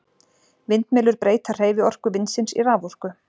Vindmyllur breyta hreyfiorku vindsins í raforku.